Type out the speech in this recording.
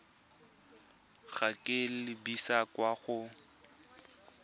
go ka lebisa kwa go